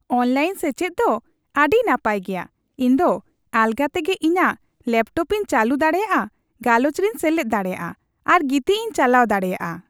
Online ᱥᱮᱪᱮᱫ ᱫᱚ ᱟᱹᱰᱤ ᱱᱟᱯᱟᱭ ᱜᱮᱭᱟ ᱾ ᱤᱧ ᱫᱚ ᱟᱞᱜᱟ ᱛᱮᱜᱮ ᱤᱧᱟᱜ ᱞᱮᱯᱴᱚᱯᱤᱧ ᱪᱟᱹᱞᱩ ᱫᱟᱲᱮᱭᱟᱜᱼᱟ, ᱜᱟᱞᱚᱪ ᱨᱮᱧ ᱥᱮᱞᱮᱫ ᱫᱟᱲᱮᱭᱟᱜᱼᱟ ᱟᱨ ᱜᱤᱛᱤᱡᱤᱧ ᱪᱟᱞᱟᱣ ᱫᱟᱲᱮᱭᱟᱜᱼᱟ ᱾